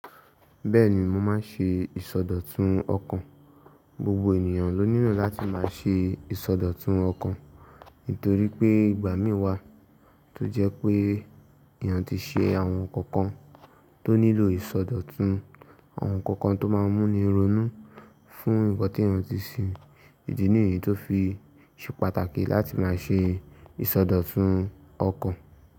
Bẹ́ẹ̀ni, mo máa ń ṣe ìsọdọ̀tun ọkàn. Gbogbo ènìyàn ló nílò láti máa ṣe ìsọdọ̀tun ọkàn nítorí pé ìgbà mí wà tó jẹ́ pé èèyàn tí ṣe àwọn nkankan tó nílò ìsọdọ̀tun, àwọn ǹkankan tó máa ń mú ni ronú fún nǹkan tí èèyàn tí ṣe. Idi niyí tó fi ṣe pàtàkì láti máa ṣe ìsọdọ̀tun ọkàn.